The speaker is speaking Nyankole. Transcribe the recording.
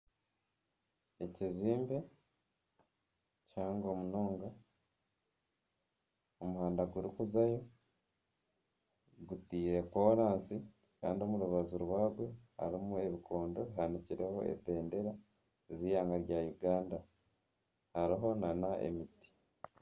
Ekizimbe kihango munonga omuhanda gurikuzayo gutaire koransi kandi omu rubaju rwagwe harimu ebikondo bihanikirweho ebendera z'eihanga rya Uganda hariho n'emiti.